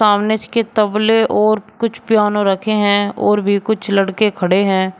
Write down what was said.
सामने के तबले और कुछ पियानो रखे हैं और भी कुछ लड़के खड़े हैं।